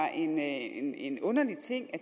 en en underlig ting at